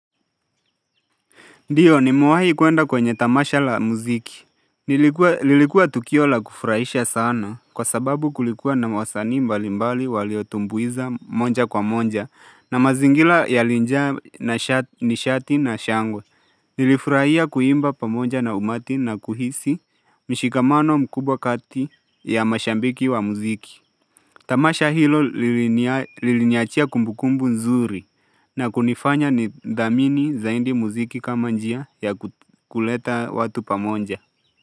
Ndiyo nime wahi kuenda kwenye tamasha la muziki. Nilikuwa lilikuwa tukio la kufurahisha sana, kwa sababu kulikuwa na mawasani mbalimbali waliotumbuiza moja kwa moja na mazingira yalija ni shati na shangwe. Nilifurahia kuimba pamoja na umati na kuhisi mshikamano mkubwa kati ya mashabiki wa muziki. Tamasha hilo liliniachia kumbukumbu nzuri na kunifanya ni dhamini zaidi muziki kama njia ya kuleta watu pamoja.